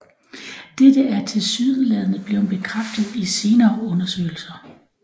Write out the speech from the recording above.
Dette er tilsyneladende blevet bekræftet i senere undersøgelser